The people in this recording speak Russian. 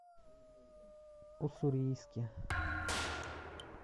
уссурийске